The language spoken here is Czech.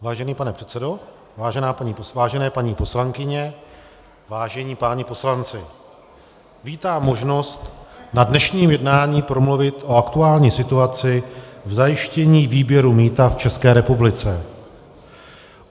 Vážený pane předsedo, vážené paní poslankyně, vážení páni poslanci, vítám možnost na dnešním jednání promluvit o aktuální situaci v zajištění výběru mýta v České republice.